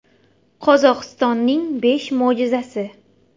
Qozog‘istonning besh mo‘jizasi .